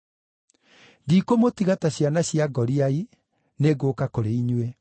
Ndikũmũtiga ta ciana cia ngoriai, nĩngũũka kũrĩ inyuĩ.